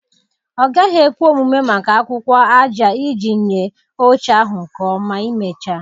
Ọ gaghị ekwe omume maka akwụkwọ aja iji nye oche ahụ nke ọma imecha.